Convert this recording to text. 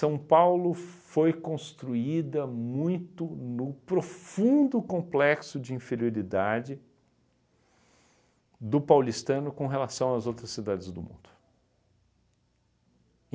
Paulo foi construída muito no profundo complexo de inferioridade do paulistano com relação às outras cidades do mundo.